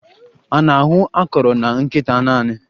A na-ahụ akọrọ na nkịta naanị?